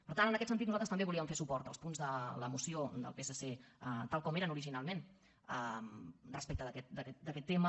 per tant en aquest sentit nosaltres també volíem fer suport als punts de la moció del psc tal com eren originalment respecte d’aquest tema